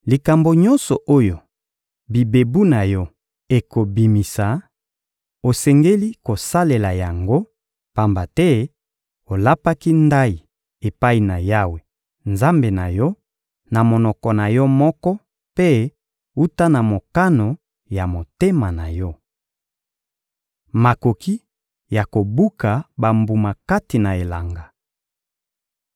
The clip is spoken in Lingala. Likambo nyonso oyo bibebu na yo ekobimisa, osengeli kosalela yango, pamba te olapaki ndayi epai na Yawe, Nzambe na yo, na monoko na yo moko mpe wuta na mokano ya motema na yo. Makoki ya kobuka bambuma kati na elanga